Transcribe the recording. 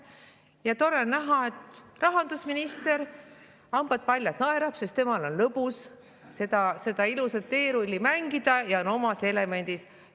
Ja tore on näha, et rahandusminister, hambad paljad, naerab, sest temal on lõbus seda ilusat teerulli mängida ja ta on omas elemendis.